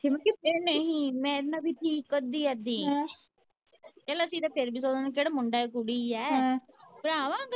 ਇਹ ਨਹੀਂ ਮੈ ਇਹਨਾਂ ਦੀ ਅੱਧੀ ਅੱਧੀ ਕਹਿੰਦਾ ਅਸੀ ਤੇ ਫਿਰ ਵੀ ਮੁੰਡਾ ਏ ਜਾ ਕੁੜੀ ਏ ਭਰਾ ਵੇ